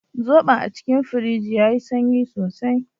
Zobon a cikin firij yayi sanyi sosai.